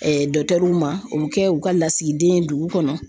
ma o bi kɛ u ka lasigiden ye dugu kɔnɔ.